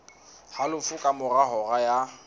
halofo ka mora hora ya